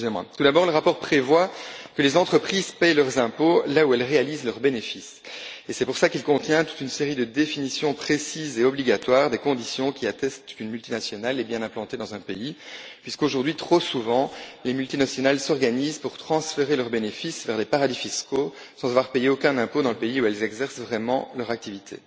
Tout d'abord, le rapport prévoit que les entreprises paient leurs impôts là où elles réalisent leurs bénéfices, et c'est pour cela qu'il contient toute une série de définitions précises et contraignantes des conditions qui attestent qu'une multinationale est bien implantée dans un pays, puisqu'aujourd'hui, trop souvent, les multinationales s'organisent pour transférer leurs bénéfices vers les paradis fiscaux sans avoir payé aucun impôt dans le pays où elles exercent vraiment leurs activités.